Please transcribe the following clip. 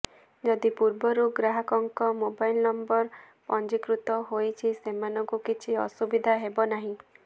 ଯଦି ପୂର୍ବରୁ ଗ୍ରାହକଙ୍କ ମୋବାଇଲ ନମ୍ବର ପଞ୍ଜୀକୃତ ହୋଇଛି ସେମାନଙ୍କୁ କିଛି ଅସୁବିଧା ହେବନାହିଁ